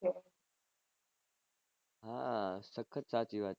હા સખત સાચી વાત છે